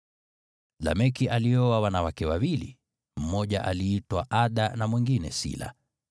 Lameki alioa wanawake wawili, mmoja aliitwa Ada, na mwingine Sila.